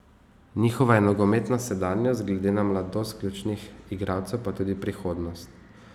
Njihova je nogometna sedanjost, glede na mladost ključnih igralcev pa tudi prihodnost.